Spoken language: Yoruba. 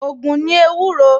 Ògùn ni ewúro